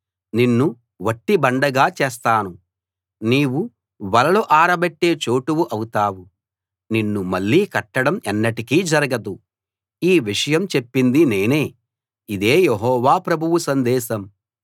నిన్ను వట్టి బండగా చేస్తాను నీవు వలలు ఆరబెట్టే చోటు అవుతావు నిన్ను మళ్ళీ కట్టడం ఎన్నటికీ జరగదు ఈ విషయం చెప్పింది నేనే ఇదే యెహోవా ప్రభువు సందేశం